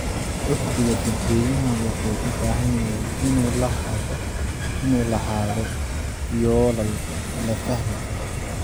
Uhdhigga dadweynaha wuxuu u baahan yahay inuu lahaado yoolal la fahmi karo.